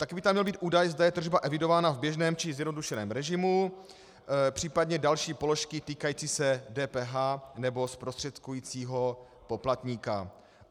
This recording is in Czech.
Také by tam měl být údaj, zda je tržba evidována v běžném, či zjednodušeném režimu, případně další položky týkající se DPH nebo zprostředkujícího poplatníka.